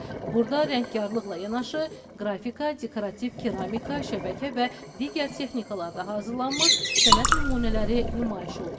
Burda rəngkarlıqla yanaşı qrafika, dekorativ keramika, şəbəkə və digər texnikalarda hazırlanmış sənət nümunələri nümayiş olunur.